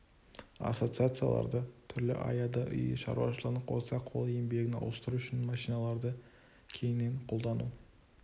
ассоциацияларда түрлі аяда үй шаруашылығын қоса қол еңбегін ауыстыру үшін машиналарды кеңінен қолдану